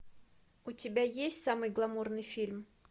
у тебя есть самый гламурный фильм